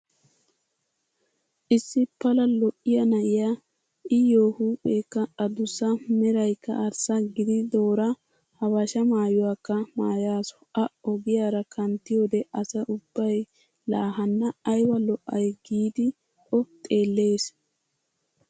Issi pala lo"iyaa na"iyaa iyyoo huupheekka adussa meraykka arssa gididoora habashaa maayuwaakka maayasu. A ogiyaara kanttiyoode asay ubbay "laa hanna ayba lo"ay" giidi o xeellees.